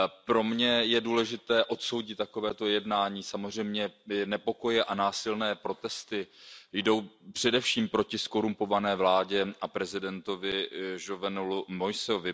Pro mě je důležité odsoudit takového jednání, samozřejmě nepokoje a násilné protesty jdou především proti zkorumpované vládě a prezidentovi Jovenelovi Moïsemu.